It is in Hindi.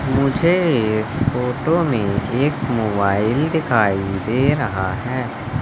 मुझे इस फोटो में एक मोबाइल दिखाई दे रहा है।